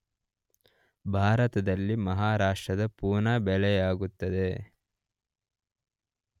ಭಾರತದಲ್ಲಿ ಮಹಾರಾಷ್ಟ್ರದ ಪೂನಾ ಬೆಳೆಯಲಾಗುತ್ತದೆ